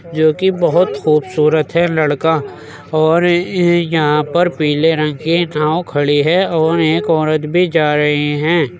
जोकि बहुत खूबसूरत है लड़का और ये यहाँं पर पीले रंग की नाव खड़ी है और एक औरत भी जा रही हैं।